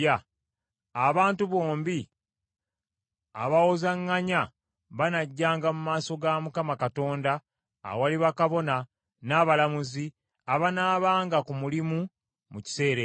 abantu bombi abawozaŋŋanya banajjanga mu maaso ga Mukama Katonda awali bakabona n’abalamuzi abanaabanga ku mulimu mu kiseera ekyo.